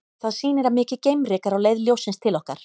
Það sýnir að mikið geimryk er á leið ljóssins til okkar.